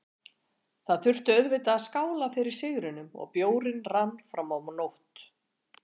Það þurfti auðvitað að skála fyrir sigrinum og bjórinn rann fram á nótt.